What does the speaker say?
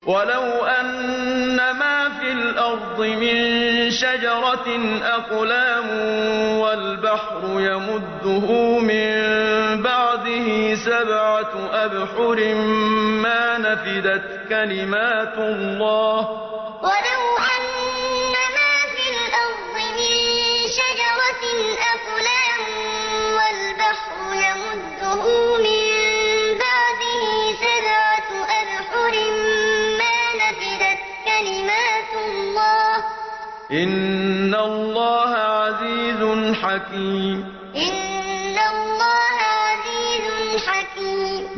وَلَوْ أَنَّمَا فِي الْأَرْضِ مِن شَجَرَةٍ أَقْلَامٌ وَالْبَحْرُ يَمُدُّهُ مِن بَعْدِهِ سَبْعَةُ أَبْحُرٍ مَّا نَفِدَتْ كَلِمَاتُ اللَّهِ ۗ إِنَّ اللَّهَ عَزِيزٌ حَكِيمٌ وَلَوْ أَنَّمَا فِي الْأَرْضِ مِن شَجَرَةٍ أَقْلَامٌ وَالْبَحْرُ يَمُدُّهُ مِن بَعْدِهِ سَبْعَةُ أَبْحُرٍ مَّا نَفِدَتْ كَلِمَاتُ اللَّهِ ۗ إِنَّ اللَّهَ عَزِيزٌ حَكِيمٌ